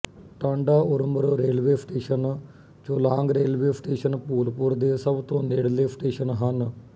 Tanda Urmar railway station Cholang railway station Bhulpur ਦੇ ਸਭ ਤੋਂ ਨੇੜਲੇ ਸਟੇਸ਼ਨ ਹਨ